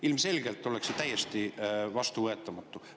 Ilmselgelt oleks see täiesti vastuvõetamatu.